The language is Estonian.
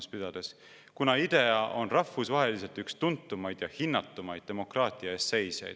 – V. V.] kuna IDEA on rahvusvaheliselt üks tuntumaid ja hinnatumaid demokraatia eest seisjaid.